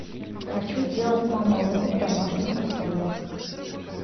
хочу сделать мамалыгу в домашних условиях